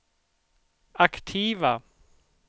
aktiva